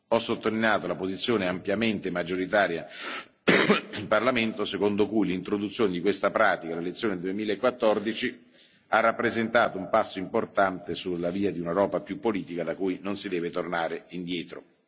Ho sottolineato la posizione ampiamente maggioritaria in Parlamento, secondo cui l'introduzione di questa pratica alle elezioni del 2014 ha rappresentato un passo importante sulla via di un'Europa più politica, da cui non si deve tornare indietro.